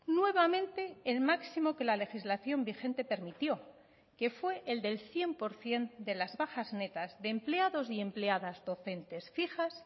nuevamente el máximo que la legislación vigente permitió que fue el del cien por ciento de las bajas netas de empleados y empleadas docentes fijas